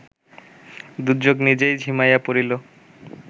দুর্যোগ নিজেই ঝিমাইয়া পড়িল